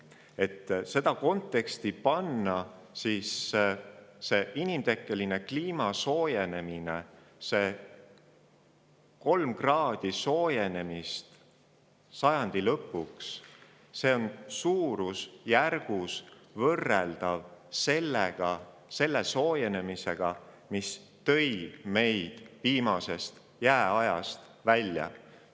Et seda konteksti panna: inimtekkeline kliima soojenemine – võimalikud 3 kraadi soojenemist sajandi lõpuks – on suurusjärguna võrreldav selle soojenemisega, mis tõi meid viimasest jääajast välja.